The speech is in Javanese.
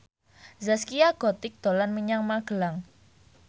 Zaskia Gotik dolan menyang Magelang